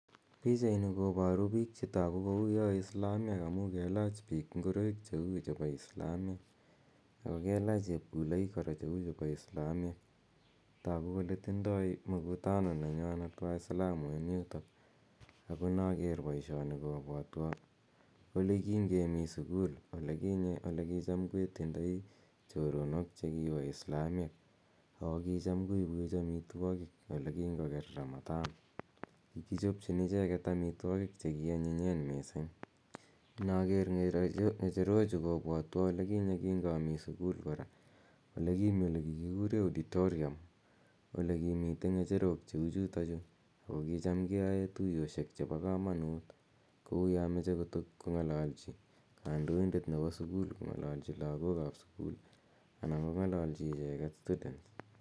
Pichaini koporu biik chetoku kouyo islamyek amu kelach biik ngureik cheu chepo islamyek ako kelach chepkuloik kora cheu chepo islamyek tuku kole tindoi mkutano nenywanet waislamu eng yuto ako naker boishoni kobwotwo olekingemi sukul olekinye olekicham ketindoi choronok chekipo islamyek ako kicham koipwech amitwokik olekinkoker Ramathan. Kikichopchin icheket amitwokik chekionyinyen mising. Naker ng'echerochu kobwotwo alikinye kingami sukul kora olekimi olekikikure auditorium olekimite ng'echerok cheu chutochu ako kicham keoe tuiyoshek chepo komonut kouyo moche kotot kong'ololchi kandoindet nepo sukul kong'alalchi lagokap sukul anan kong'ololchi icheket students.